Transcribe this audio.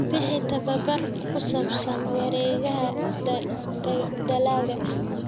Bixi tababar ku saabsan wareegga dalagga.